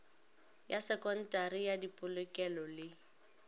ya sekontari ya dipolokelo le